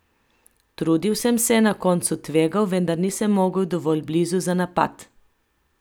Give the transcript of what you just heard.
Trudil sem se, na koncu tvegal, vendar nisem mogel dovolj blizu za napad.